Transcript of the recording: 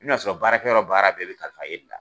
I bɛn'a sɔrɔ baarakɛyɔrɔ baara bɛɛ bɛ kalifa i la.